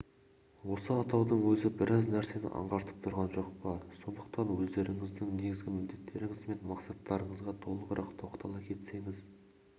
осы атаудың өзі біраз нәрсені аңғартып тұрған жоқ па сондықтан өздеріңіздің негізгі міндеттеріңіз бен мақсаттарыңызға толығырақ тоқтала кетсеңіз